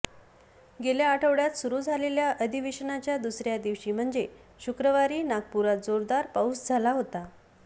गेल्या आठवड्यात सुरु झालेल्या अधिवेशनाच्या दुसऱ्या दिवशी म्हणजे शुक्रवारी नागपुरात जोरदार पाऊस झाला होता